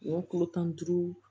Wa kulo tan ni duuru